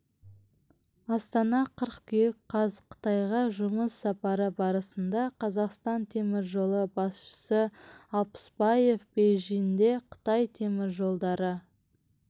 астана қыркүйек қаз қытайға жұмыс сапары барысында қазақстан темір жолы басшысы алпысбаев бейжінде қытай темір жолдары